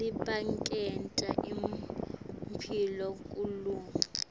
labaniketa imphilo kumalunga